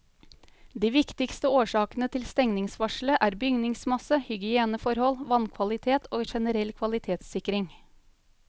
De viktigste årsakene til stengningsvarselet er bygningsmasse, hygieneforhold, vannkvalitet og generell kvalitetssikring.